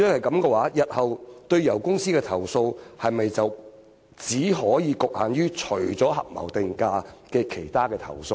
那麼，日後對油公司提出的投訴，是否只局限於合謀定價以外的其他投訴呢？